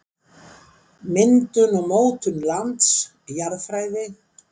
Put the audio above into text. Myndun og mótun lands- Jarðfræði.